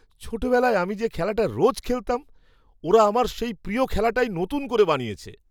ছোটবেলায় আমি যে খেলাটা রোজ খেলতাম, ওরা আমার সেই প্রিয় খেলাটাই নতুন করে বানিয়েছে!